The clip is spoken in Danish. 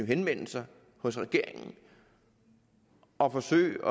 henvende sig hos regeringen og forsøge